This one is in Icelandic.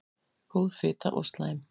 Góð fita og slæm